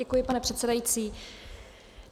Děkuji, pane předsedající.